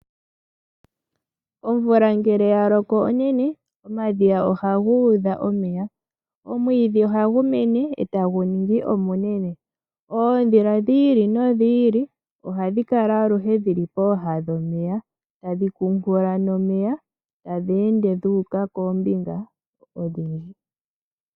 Omvula ngele yaloko onene omadhiya ohaga udha omeya. Omwidhi ohagu mene etagu ningi omunene. Oondhila dhi ili nodhi ili ohadhi kala aluhe dhili poohe dhomeya tadhi kuunkula nomeya tadhi ende dhuuka koombinga odhindji.